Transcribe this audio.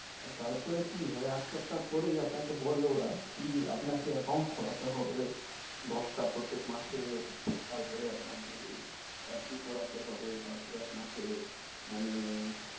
তার পরে কি হয়, এক সপ্তা পরেই বলে ওরা কি, আপনাকে account খোলাতে হবে, দশ টা প্রত্যেক মাসে, তার পর আপনাকে FD করাতে হবে, তার পর আপনাকে মানে,